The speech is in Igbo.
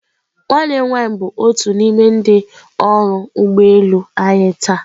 Nwanne m nwanyị bụ otu n'ime ndị ọrụ ụgbọ elu anyị taa.